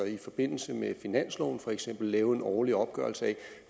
i forbindelse med finansloven for eksempel lavede en årlig opgørelse af